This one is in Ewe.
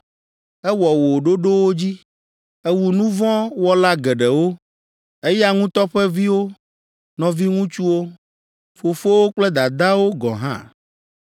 Ewɔ wò ɖoɖowo dzi, ewu nu vɔ̃ wɔla geɖewo, eya ŋutɔ ƒe viwo, nɔviŋutsuwo, fofowo kple dadawo gɔ̃ hã.